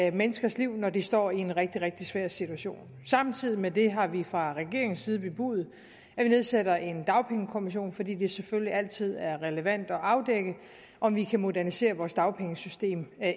i menneskers liv når de står i en rigtig rigtig svær situation samtidig med det har vi fra regeringens side bebudet at vi nedsætter en dagpengekommission fordi det selvfølgelig altid er relevant at afdække om vi kan modernisere vores dagpengesystem